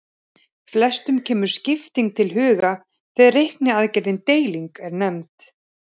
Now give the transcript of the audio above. Flestum kemur skipting til hugar þegar reikniaðgerðin deiling er nefnd.